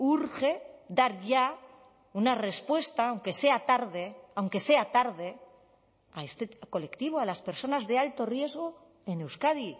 urge dar ya una respuesta aunque sea tarde aunque sea tarde a este colectivo a las personas de alto riesgo en euskadi